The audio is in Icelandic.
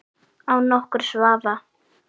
Án nokkurs vafa!